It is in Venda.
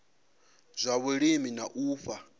zwa vhulimi na u fha